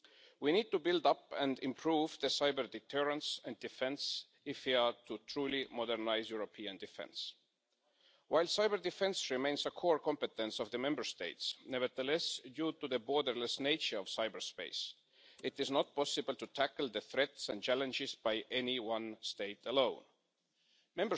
We need to build up and improve our cyber-deterrents and defence if we are to truly modernise European defence. While cyber-defence remains the core competence of the Member States, nevertheless, due to the borderless nature of cyberspace, it is not possible for any one state alone to tackle the threats and challenges.